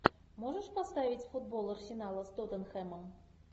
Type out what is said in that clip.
можешь поставить футбол арсенала с тоттенхэмом